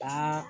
Ka